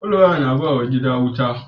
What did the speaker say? Fal waya na bawa gida je wuta